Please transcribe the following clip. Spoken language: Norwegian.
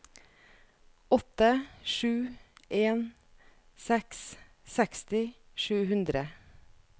åtte sju en seks seksti sju hundre